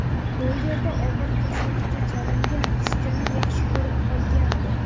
U yerda og‘ir kasallika chalingan qizchani yaxshi ko‘rib qolgandi.